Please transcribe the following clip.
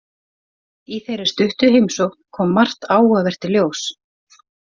Í þeirri stuttu heimsókn kom margt áhugavert í ljós.